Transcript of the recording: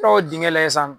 dingɛ la yen sisan